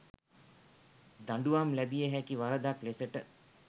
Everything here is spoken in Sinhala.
දඬුවම් ලැබිය හැකි වරදක් ලෙසට